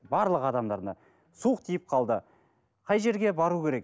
барлық адамдарына суық тиіп қалды қай жерге бару керек